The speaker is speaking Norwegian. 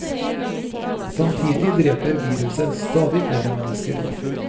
Samtidig dreper viruset stadig flere mennesker.